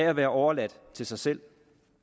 at være overladt til sig selv